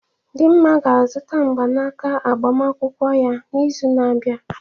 Dinma ga-azụta mgbanaka agbamakwụkwọ ya n'izu na-abịa.